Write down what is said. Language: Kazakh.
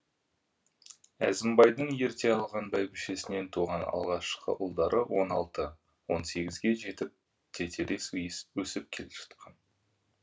әзімбайдың ерте алған бәйбішесінен туған алғашқы ұлдары он алты он сегізге жетіп тетелес өсіп келе жатқан